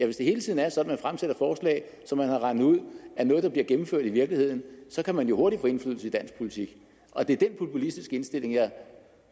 hvis det hele tiden er sådan at man fremsætter forslag som man har regnet ud er noget der bliver gennemført i virkeligheden så kan man jo hurtigt få indflydelse i dansk politik og det er den populistiske indstilling jeg